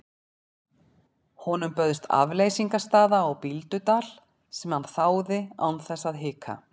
Honum bauðst afleysingarstaða á Bíldudal sem hann þáði án þess að hika.